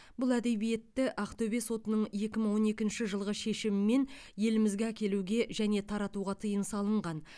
бұл әдебиетті ақтөбе сотының екі мың он екінші жылғы шешімімен елімізге әкелуге және таратуға тыйым салынған